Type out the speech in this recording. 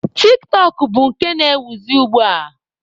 Tik-tọk bụ nke na-ewuzi ugbua.